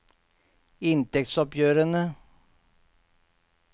inntektsoppgjørene